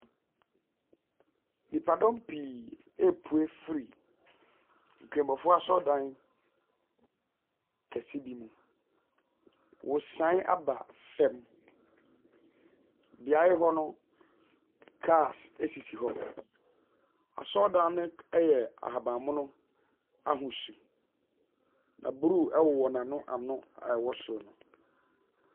Nnipadɔm pii ɔrepue firi nkramofoɔ asɔredan kɛseɛ bi mu. Wɔresan aba fam. Beaeɛ hɔ o, cars asisi hɔ. Asɔredan no ɛyɛ ahabanmono ahosu. Na bruu ɛwowɔ n’anoano a ɛwɔ soro no.